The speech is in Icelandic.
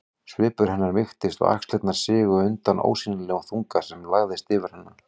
Svipur hennar mýktist og axlirnar sigu undan ósýnilegum þunga sem lagðist yfir hana.